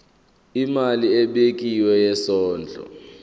imali ebekiwe yesondlo